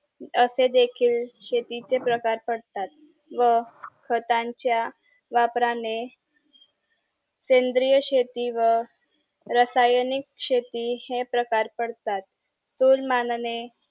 असे देखील शेतीचे प्रकार पडतात व खतांचा वापराने सेंद्रीय शेती व रासायनिक शेती हे प्रकार पडतात तुलमानाने